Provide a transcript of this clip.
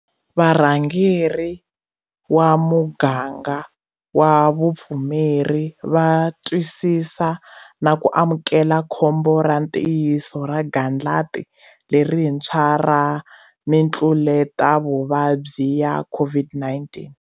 Varhangeri va muganga wa vupfumeri va twisisa na ku amukela khombo ra ntiyiso ra gandlati lerintshwa ra mitluletavuvabyi ya COVID-19.